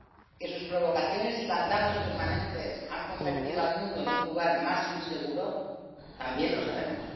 que sus provocaciones y bandazos permanentes han convertido al mundo en un lugar más inseguro, también lo sabemos.